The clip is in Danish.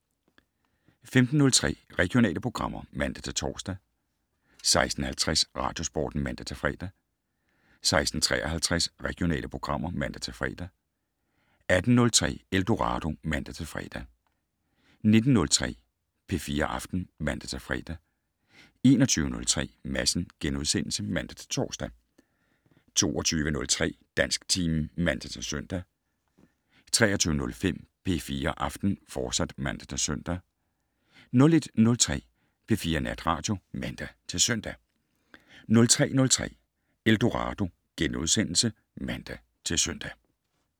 15:03: Regionale programmer (man-tor) 16:50: Radiosporten (man-fre) 16:53: Regionale programmer (man-fre) 18:03: Eldorado (man-fre) 19:03: P4 Aften (man-fre) 21:03: Madsen *(man-tor) 22:03: Dansktimen (man-søn) 23:05: P4 Aften, fortsat (man-søn) 01:03: P4 Natradio (man-søn) 03:03: Eldorado *(man-søn)